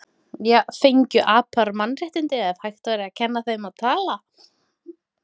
Fengju apar mannréttindi ef hægt væri að kenna þeim að tala?